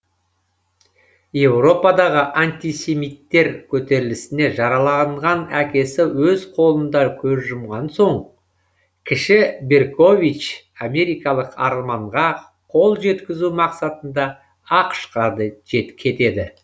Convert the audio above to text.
еуропадағы антисемиттер көтерілісінде жараланған әкесі өз қолында көз жұмған соң кіші беркович америкалық арманға қол жеткізу мақсатында ақш қа кетеді